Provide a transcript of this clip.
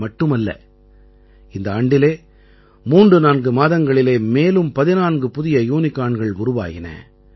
இது மட்டுமல்ல இந்த ஆண்டில் 34 மாதங்களிலே மேலும் 14 புதிய யூனிகார்ன்கள் உருவாயின